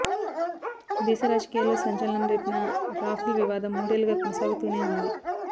దేశ రాజకీయాల్లో సంచలనం రేపిన రాఫెల్ వివాదం మూడేళ్లుగా కొనసాగుతూనే ఉంది